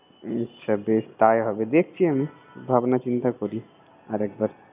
আচ্ছা বেশ তাই হবে। দেখছি আমি ।